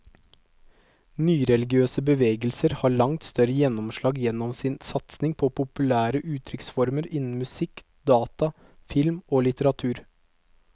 Nyreligiøse bevegelser har langt større gjennomslag gjennom sin satsing på populære uttrykksformer innen musikk, data, film og litteratur.